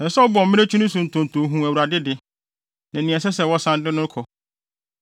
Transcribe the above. Ɛsɛ sɛ ɔbɔ mmirekyi no so ntonto hu Awurade de, ne nea ɛsɛ sɛ wɔsan de no kɔ.